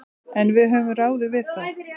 En við höfum ráðið við það.